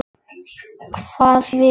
Hvað vill hann?